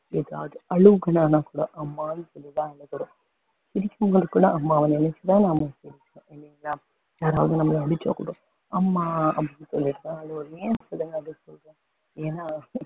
எதாவது அழுகணுனாக்கூட கூட அம்மான்னு சொல்லி தான் அழுகுறோம் சிரிக்கும்போதுக் கூட அம்மாவ நினைச்சுதான் நாம சிரிப்போம் இல்லிங்களா அவங்க நம்மள அடிச்சாக்கூட அம்மா அப்படின்னு சொல்லிட்டுதான் அழுவோம் ஏன்னு சொல்லுங்க ஏன்னா